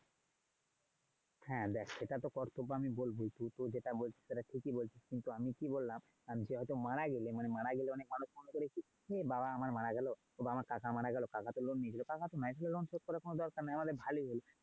হ্যাঁ দেখ সেটা তো কর্তব আমি বলবই। তুই তো যেটা বলছিস সেটা তো ঠিকই বলছি কিন্তু আমি কি বললাম এখন কেউ হয়তো মারা গেলে, মানে মারা গেলে অনেক মানুষ মনে করে কি বাবা আমার মারা গেলো, বা কাকা আমার মারা গেলো তো কাকা তো loan নিলো তাহলে তো loan শোধ করার কোনও দরকার নাই। আমাদের ভালোই হলো।